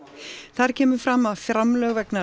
þar kemur fram að framlög vegna